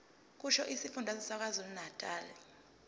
kusho isifundazwe sakwazulunatali